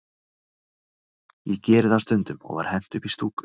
Ég geri það stundum, og var hent upp í stúku.